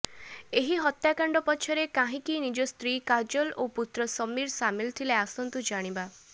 ଏହି ହତ୍ୟାକାଣ୍ଡ ପଛରେ କାହିଁକି ନିଜ ସ୍ତ୍ରୀ କାଜଲ ଓ ପୁତ୍ର ସମୀର ସାମିଲ ଥିଲେ ଆସନ୍ତୁ ଜାଣିବା